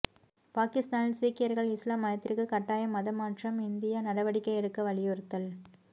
பாகிஸ்தானில் சீக்கியர்கள் இஸ்லாம் மதத்திற்கு கட்டய மதமாற்றம் இந்தியா நடவடிக்கை எடுக்க வலியுறுத்தல்